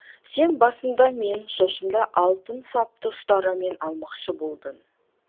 сен басында менің шашымды алтын сапты ұстарамен алмақшы болдың